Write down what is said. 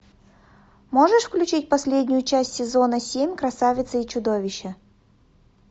можешь включить последнюю часть сезона семь красавица и чудовище